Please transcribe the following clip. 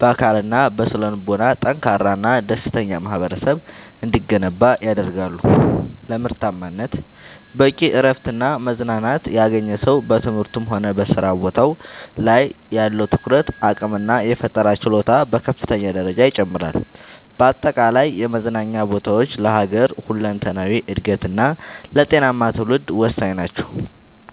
በአካልና በስነ-ልቦና ጠንካራና ደስተኛ ማኅበረሰብ እንዲገነባ ያደርጋሉ። ለምርታማነት፦ በቂ እረፍትና መዝናናት ያገኘ ሰው በትምህርቱም ሆነ በሥራ ቦታው ላይ ያለው የትኩረት አቅምና የፈጠራ ችሎታ በከፍተኛ ደረጃ ይጨምራል። በአጠቃላይ የመዝናኛ ቦታዎች ለሀገር ሁለንተናዊ እድገትና ለጤናማ ትውልድ ወሳኝ ናቸው።